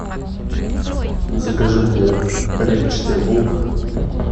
закажи мне репчатый лук